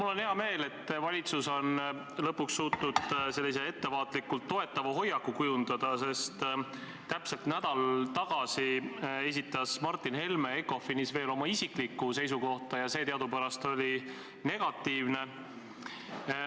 Mul on hea meel, et valitsus on lõpuks suutnud sellise ettevaatlikult toetava hoiaku kujundada, sest täpselt nädal tagasi esitas Martin Helme ECOFIN-is veel oma isiklikku seisukohta ja see teadupärast oli negatiivne.